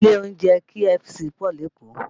Ilé oúnjẹ KFC pọ̀ lékòó